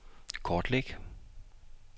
kortlæg